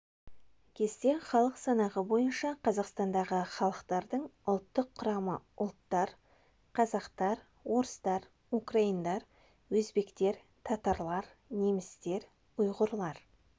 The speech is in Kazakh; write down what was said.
кесте халық санағы бойынша қазақстандағы халықттардың ұлттық құрамы ұлттар қазақтар орыстар украиндар өзбектер татарлар немістер ұйғырлар